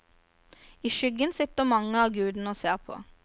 I skyggen sitter mange av gudene og ser på.